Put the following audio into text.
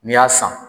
N'i y'a san